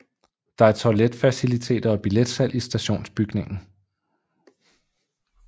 Der er toiletfaciliteter og billetsalg i stationsbygningen